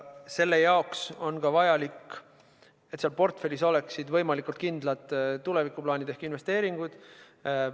Selleks on vajalik, et seal portfellis oleksid võimalikult kindlad tulevikuplaanid ehk investeeringud.